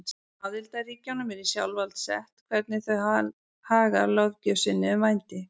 Aðildarríkjunum er í sjálfsvald sett hvernig þau haga löggjöf sinni um vændi.